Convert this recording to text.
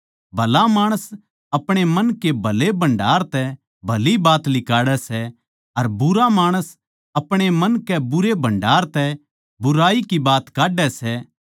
भला माणस अपणे मन के भले भण्डार तै भली बात लिकाड़ै सै अर बुरा माणस अपणे मन के बुरे भण्डार तै बुराई की बात काढै सै